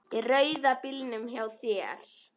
Í rauða bílnum hjá þér.